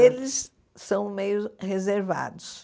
Eles são meio reservados.